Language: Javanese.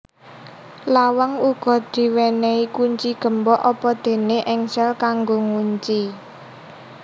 Lawang uga diwenei kunci gembok apadene engsel kanggo ngunci